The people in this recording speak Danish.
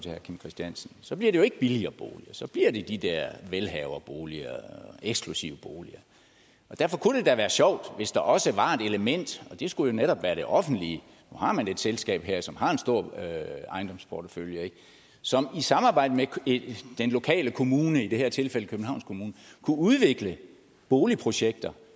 herre kim christiansen så bliver det jo ikke billigere boliger så bliver det de der velhaverboliger eksklusive boliger derfor kunne det være sjovt hvis der også var et element og det skulle jo netop være det offentlige nu har man et selskab her som har en stor ejendomsportefølje som i samarbejde med den lokale kommune i det her tilfælde københavns kommune kunne udvikle boligprojekter